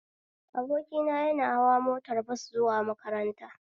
Abokina ya na hawa motar bas zuwa makaranta